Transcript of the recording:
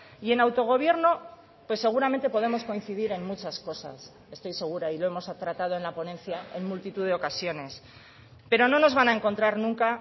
y en autogobierno pues seguramente podemos coincidir en muchas cosas estoy segura y lo hemos tratado en la ponencia en multitud de ocasiones pero no nos van a encontrar nunca